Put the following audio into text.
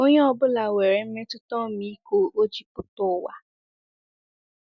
Onye ọ bụla nwere mmetụta ọmịiko o ji pụta ụwa.